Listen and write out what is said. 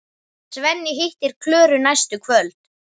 Svenni hittir Klöru næstu kvöld.